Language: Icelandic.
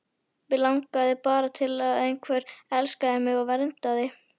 Mig langaði bara til að einhver elskaði mig og verndaði.